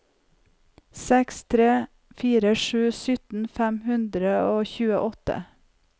seks tre fire sju sytten fem hundre og tjueåtte